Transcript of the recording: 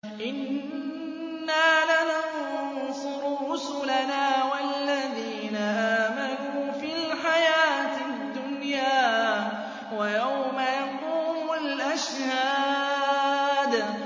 إِنَّا لَنَنصُرُ رُسُلَنَا وَالَّذِينَ آمَنُوا فِي الْحَيَاةِ الدُّنْيَا وَيَوْمَ يَقُومُ الْأَشْهَادُ